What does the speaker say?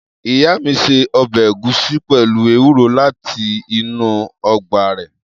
Iya mi se obe egusi pelu ewuro lati inu ogba re.